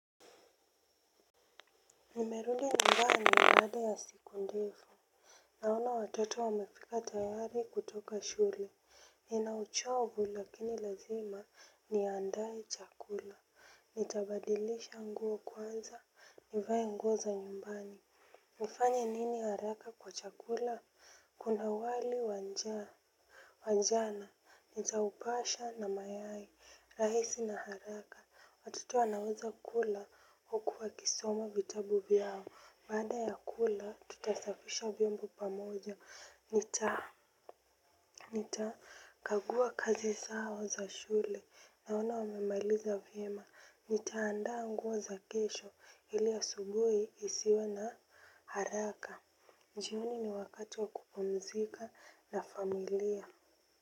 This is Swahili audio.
Nimerudi nyumbani baada ya siku ndefu. Naona watoto wamefika tayari kutoka shule. Nina uchovu lakini lazima niandae chakula. Nitabadilisha nguo kwanza nivae nguo za nyumbani nifanye nini haraka kwa chakula kuna wali wanjaa wa jana, nitaupasha na mayai, rahisi na haraka, watoto wanaweza kula huku wakisoma vitabu vyao, baada ya kula tutasafisha vyombo pamoja, nitakagua kazi zao za shule, naona wamemailiza vyema, nitaandaa nguo za kesho, ili asubuhi isiwe na haraka, jioni ni wakati wa kupumzika na familia.